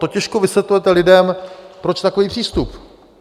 To těžko vysvětlujete lidem, proč takový přístup.